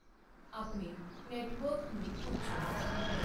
ਆਪਣੇ ਨੈੱਟਵਰਕ ਨੂੰ ਪੁੱਛੋ।